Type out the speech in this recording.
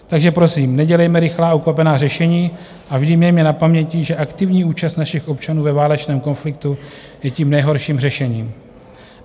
Takže prosím, nedělejme rychlá a ukvapená řešení a vždy mějme na pamětí, že aktivní účast našich občanů ve válečném konfliktu je tím nejhorším řešením.